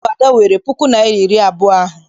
Ọ bụ Ada weere puku naịra na iri abụọ ahụ.